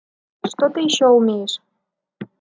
что ты ещё умеешь